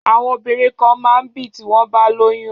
Àwọn obìnrin kan máa n bì tí wọ́n bá lóyún